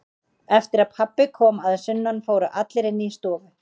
Eftir að pabbi kom að sunnan fóru allir inn í stofu.